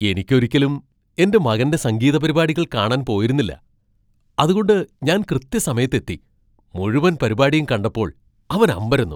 എനിക്ക് ഒരിക്കലും എന്റെ മകന്റെ സംഗീതപരിപാടികൾ കാണാൻ പോയിരുന്നില്ല , അതുകൊണ്ട് ഞാൻ കൃത്യസമയത്ത് എത്തി മുഴുവൻ പരിപാടിയും കണ്ടപ്പോൾ അവൻ അമ്പരന്നു.